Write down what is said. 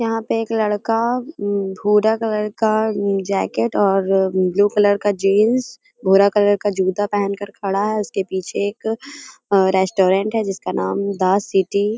यहाँ पे एक लड़का भूरा कलर का जैकेट और ब्लू कलर का जीन्स भूरा कलर का जूता पहन कर खड़ा है उसके पीछे एक रेस्ट्रॉन्ट जिसका नाम है द सिटी --